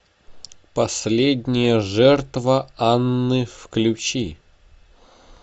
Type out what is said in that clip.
последняя жертва анны включи